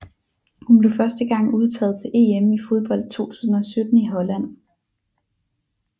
Hun blev første gang udtaget til EM i fodbold 2017 i Holland